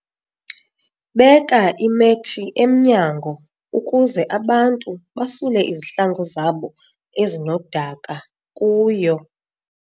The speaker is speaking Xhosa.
Beka imethi emnyango ukuze abantu basule izihlangu zabo ezinodaka kuyo.